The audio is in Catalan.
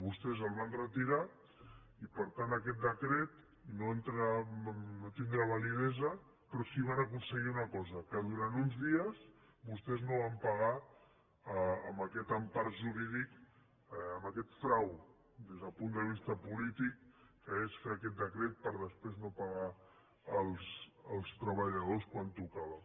vostès el van retirar i per tant aquest decret no tindrà validesa però sí que van aconseguir una cosa que durant uns dies vostès no van pagar amb aquesta empara jurídica amb aquest frau des del punt de vista polític que és fer aquest decret per després no pagar els treballadors quan tocava